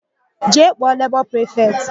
Jee kpọọ lebọ prifetị!